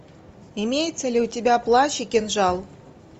имеется ли у тебя плащ и кинжал